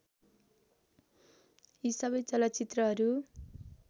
यी सबै चलचित्रहरू